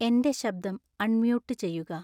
എൻ്റെ ശബ്ദം അൺമ്യൂട്ട് ചെയ്യുക